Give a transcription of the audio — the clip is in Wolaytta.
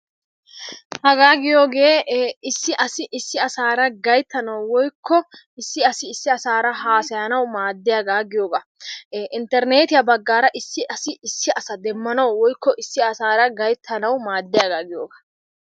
Hagaa giyoogee issi asi issi asaara gayittanawu woyikko issi asi issi asaara haasayanawu haasayanawu maaddiyaagaa giyoogaa. Interneetiya baggaara issi asi issi asa demmanawu woyikko issi asaara gayittanawu maadiyaagaa giyogaa.